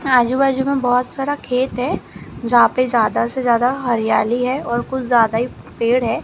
आजू बाजू में बहोत सारा खेत है जहां पे ज्यादा से ज्यादा हरियाली है और कुछ ज्यादा ही पेड़ है।